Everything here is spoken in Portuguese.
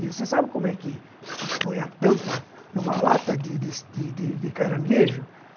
E você sabe como é que põe a tampa numa lata de de de caranguejo?